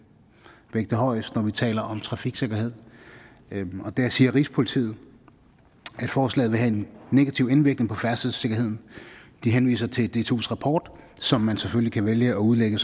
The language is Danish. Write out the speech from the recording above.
vægte højest når vi taler om trafiksikkerhed der siger rigspolitiet at forslaget vil have en negativ indvirkning på færdselssikkerheden de henviser til dtus rapport som man selvfølgelig kan vælge at udlægge